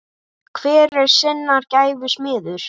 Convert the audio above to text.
Hver er sinnar gæfu smiður